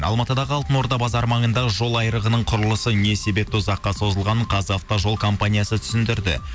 алматыдағы алтын орда базары маңындағы жол айрығының құрылысы не себепті ұзаққа созылғанын қазавтожол компаниясы түсіндірді